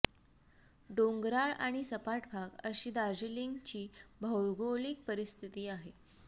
डोंगराळ आणि सपाट भाग अशी दार्जिलिंगची भौगोलिक परिस्थिती आहे